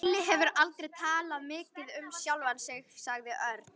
Lúlli hefur aldrei talað mikið um sjálfan sig sagði Örn.